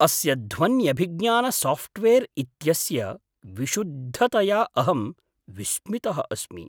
अस्य ध्वन्यभिज्ञानसाफ़्ट्वेर् इत्यस्य विशुद्धतया अहं विस्मितः अस्मि।